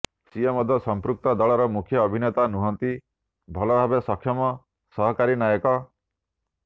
ସିଏ ମଧ୍ୟ ସମ୍ପୃକ୍ତ ଦଳର ମୁଖ୍ୟ ଅଭିନେତା ନୁହଁନ୍ତି ଭଲଭାବେ ସକ୍ଷମ ସହକାରୀ ନାୟକ